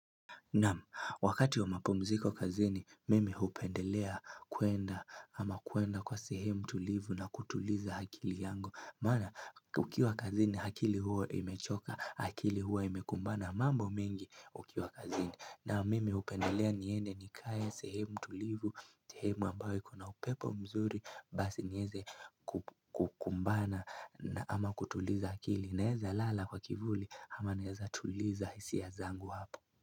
Naam, wakati wa mapumziko kazini, mimi hupendelea kuenda ama kuenda kwa sehemu tulivu na kutuliza akili yangu. Maana, ukiwa kazini akili hua imechoka, akili hua imekumbana mambo mingi ukiwa kazini. Naam, mimi hupendelea niende nikae sehemu tulivu, sehemu ambayo ikona upepo mzuri, basi niweze kukumbana ama kutuliza akili. Naweza lala kwa kivuli ama naweza tuliza hisia ya zangu hapo.